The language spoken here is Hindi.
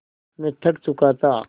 मैं थक चुका था